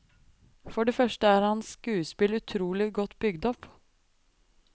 For det første er hans skuespill utrolig godt bygd opp.